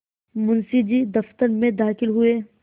मुंशी जी दफ्तर में दाखिल हुए